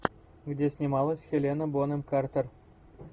где снималась хелена бонем картер